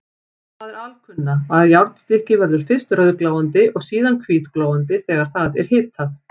Það er alkunna, að járnstykki verður fyrst rauðglóandi og síðan hvítglóandi þegar það er hitað.